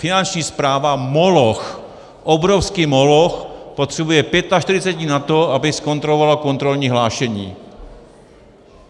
Finanční správa, moloch, obrovský moloch, potřebuje 45 dní na to, aby zkontrolovala kontrolní hlášení.